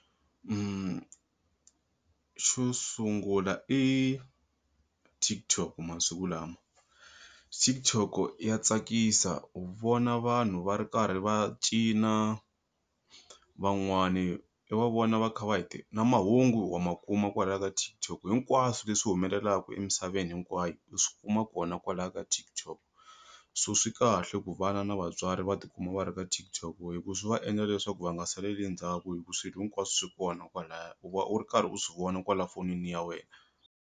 Xo sungula i TikTok masiku lama TikTok ya tsakisa u vona vanhu va ri karhi va cina van'wani i va vona va kha va hi na mahungu wa makuma kwalaya ka TikTok hinkwaswo leswi humelelaku emisaveni hinkwayo u swikuma kona kwalaya ka TikTok so swi kahle ku vana na vatswari va tikuma va ri ka TikTok hi ku swi va endla leswaku va nga saleli endzhaku hi ku swilo hinkwaswo swi kona kwalaya u va u ri karhi u swi vona kwala fonini ya wena.